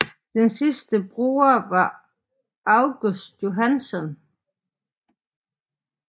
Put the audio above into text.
Den sidste bruger var August Johansson